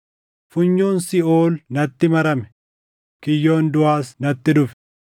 Funyoon siiʼool natti marame; kiyyoon duʼaas natti dhufe.